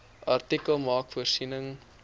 artikel maak voorsiening